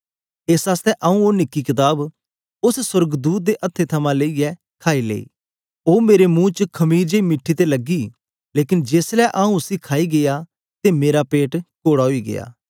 एस आसतै आऊँ ओ निकी कताब उस्स सोर्गदूत दे हत्थे थमां लेईयै खाई लेई उस्स मेरे मुंह च मखीर जेई मीठी ते लगी लेकन जेस ले आऊँ उसी खाई गीया अते मेरा पेट कोड़ा ओई गीया